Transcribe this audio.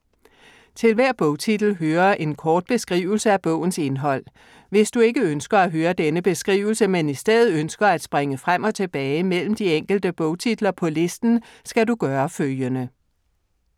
Til hver bogtitel hører en kort beskrivelse af bogens indhold. Hvis du ikke ønsker at høre denne beskrivelse, men i stedet ønsker at springe frem og tilbage mellem de enkelte bogtitler på listen, skal du gøre følgende: